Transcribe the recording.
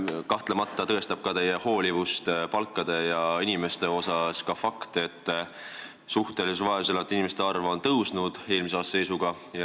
Kahtlemata tõestab teie hoolivust palkade ja inimeste suhtes ka fakt, et suhtelises vaesuses elavate inimeste arv on eelmise aasta seisuga tõusnud.